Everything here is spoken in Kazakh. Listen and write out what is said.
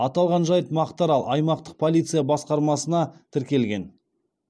аталған жайт мақтаарал аймақтық полиция басқармасына тіркелген